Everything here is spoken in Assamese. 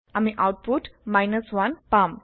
আমি আওতপুত 1 পাম